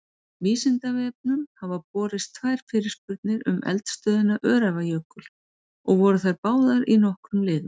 Vísindavefnum hafa borist tvær fyrirspurnir um eldstöðina Öræfajökul og voru þær báðar í nokkrum liðum.